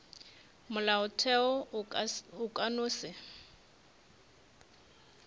molaotheo o ka no se